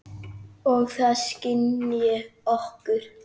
Og það skynji okkur.